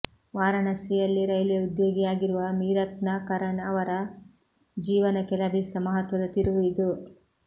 ವಾರಾಣಸಿಯಲ್ಲಿ ರೈಲ್ವೆ ಉದ್ಯೋಗಿಯಾಗಿರುವ ಮೀರತ್ನ ಕರಣ್ ಅವರ ಜೀವನಕ್ಕೆ ಲಭಿಸಿದ ಮಹತ್ವದ ತಿರುವು ಇದು